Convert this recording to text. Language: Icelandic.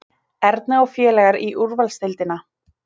Erna og félagar í úrvalsdeildina